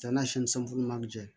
Janni sunuman cɛ